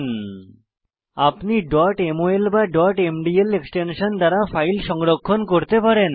অন্যথায় আপনি mol বা mdl এক্সটেনশন দ্বারা ফাইল সংরক্ষণ করতে পারেন